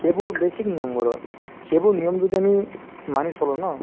সেইবোৰ basic সেইবোৰ নিয়ম যদি আমি মানি চলো ন